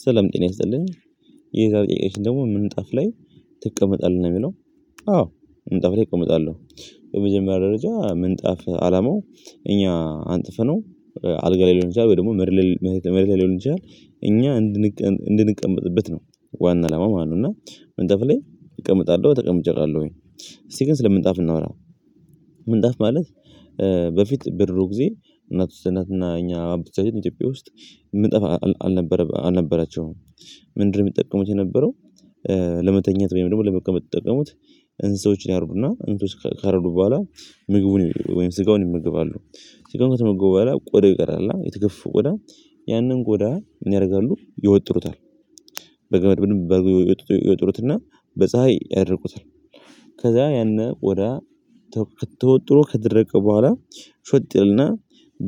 ስላም ጤና ይስልን። የዛሬ ጥያቄያችን ደግሞ ምንጣፍ ላይ ትቀመጣለህ ነው የሚለው። አዎ ምንጣፍ ላይ እቀመጣለሁ። በመጀመሪያ ደረጃ ምንጣፍ አላማው እኛ አንጥፈነው አልጋ ላይ ሊሆን ይችላል ወይ ደግሞ መሬት ላይ ሊሆን ይችላል። እኛ እንድንቀመጥበት ነው ዋና አላማ ማለት ነው። እና ምንጠፍ ላይ እቀምጣለሁ። ተቀምጬ አቃለሁኝ። እስቲ ግን ስለ ምንጣፍ እናውራው። ምንጣፍ ማለት በፊት በድሮ ጊዜ እናቶች እና የኛ አባቶቻችን ኢትዮጵያ ውስጥ ምጣፍ አልነበራቸውም። ምንድን ነው የሚጠቀሙት የነበረው? ለመተኛት ወይም ደግሞ ለመቀመጥ የሚጠቀሙት እንስሳዎች ያረቡና እንትን ካረዱ በኋላ ምግቡን ወይም ስጋውን ይመገባሉ። ስጋውን ከተመገቡ በኋላ ቆደ ይቀራል የተገፈው ቆዳ። ያንን ቆዳ ምን ያደርጋሉ? ይወጥሩታል። በገመድ ይወጥሩትና በፀሀይ ያደርቁታል። ከዛ ያነ ቆዳ ተወጥሮ ከደረቀ በኋላ ሾጥ ያለና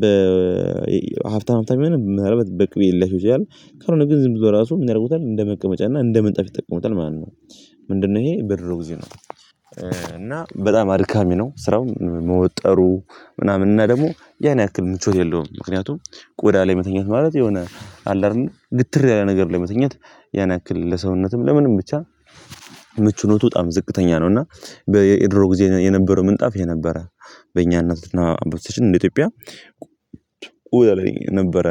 በሀብታም ሀብታም የሆነ ምናለባት በቅቤ ሊያሸው ይቻላል። ካልሆነ ግን ዝም ብሎ ራሱ ምን ያደርጉታል እንደ መቀመጫና እንደ ምንጣፍ ይጠቀሙታል ማለት ነው። ምንድነው ይሄ ብድሮ ጊዜ ነው። እና በጣም አድካሚ ነው ስራው። መወጠሩ ምናምን። እና ደግሞ ያን ያክል ምቾት የለውም። ምክንያቱም ቆዳ ላይ መተኛት ማለት የሆነ አለ አይደለ ግትር ያለ ነገር ላይ መተኛት ያን ያክል ለሰውነትም ለምንም ብቻ ምቹነቱ በጣም ዝቅተኛ ነው። እና በድሮ ጊዜ የነበረው ምንጣፍ ይሄ ነበረ። በእኛነትና በኢትዮጵያ ነበረ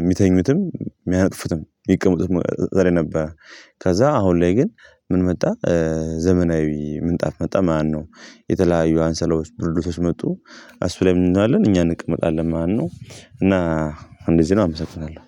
የሚተኙትም፣ የሚያነጥፉትም። የሚቀመጡትም እዛ ላይ ነበረ። ከዛ አሁን ላይ ግን ምን መጣ? ዘመናዊ ምንጣፍ መጣ ማነው። የተለያዩ አንሶላዎች ብርድ ልብሶች መጡ። እሱ ላይ ምን እንላለን እኛ እንቀመጣለን ማለት ነው። እና እንደዚህ ነው። አመሰግናለሁ።